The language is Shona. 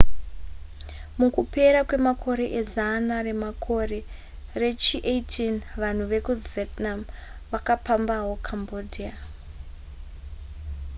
mukupera kwemakore ezana remakore rechi18 vanhu vekuvietnam vakapambawo cambodia